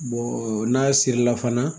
n'a sirila fana